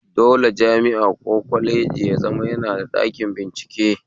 Dole jami'a ko kwaleji ya zama suna da ɗakin bincike